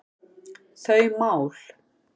þau mál.